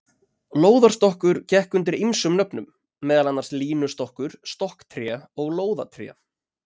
Lóðarstokkur gekk undir ýmsum nöfnum, meðal annars línustokkur, stokktré og lóðatré.